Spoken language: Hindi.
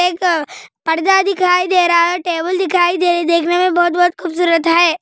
एक पर्दा दिखाई दे रहा है टेबुल दिखाई दे रही देखने में बहुत-बहुत खूबसूरत है |